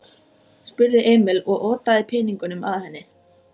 spurði Emil og otaði peningunum að henni.